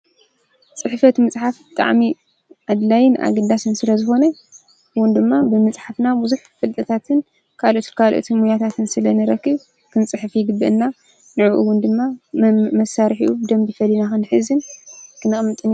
ፅሕፈት ምፅሓፍ ብጣዕሚ ኣድላይን ኣገዳስን ስለዝኮነ ከምኡ እውን ድማ ብምፅሓፍና ብዙሕ ፍልጠታትን ካልኦት ሞያታትን ስለ ንረክብ ክንፅሕፍ ይግበኣና። ንዕኡ እውን ድማ መሳርሒኡ ብደምቢ ፈሊና ክንሕዝን ክነቅምትን